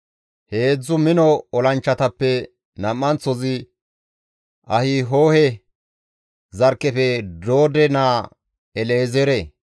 He heedzdzu mino olanchchatappe nam7anththozi Ahihohe zarkkefe Doode naa El7ezeere.